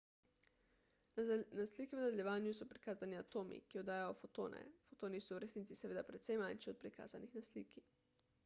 na sliki v nadaljevanju so prikazani atomi ki oddajajo fotone fotoni so v resnici seveda precej manjši od prikazanih na sliki